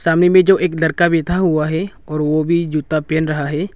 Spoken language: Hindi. सामने में जो एक लड़का बैठा हुआ है और ओ भी जूता पेहन रहा है।